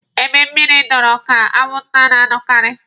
Ebe mmịrị dọkọọrọ ka anwụnta na-anọkaarị.